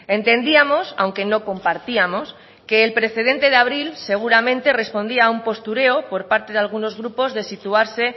entendíamos aunque no compartíamos que el precedente de abril seguramente respondía a un postureo por parte de algunos grupos de situarse